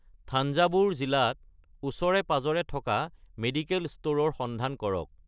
থাঞ্জাভুৰ জিলাত ওচৰে-পাঁজৰে থকা মেডিকেল ষ্ট'ৰৰ সন্ধান কৰক